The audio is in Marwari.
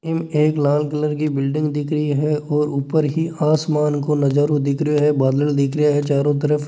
यह एक लाल कलर की बिल्डिंग दिख रही हैऔर ऊपर ही आसमान को नजरो दिख रहियो है बादल दिख रहियो है चारो तरफ--